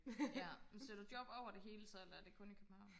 ja men søger du job over det hele så eller det kun i København